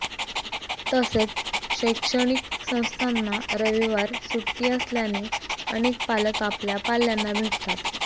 तसेच शैक्षणिक संस्थांना रविवार सुट्टी असल्याने अनेक पालक आपल्या पाल्यांना भेटतात